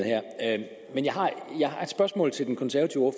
her men jeg har et spørgsmål til den konservative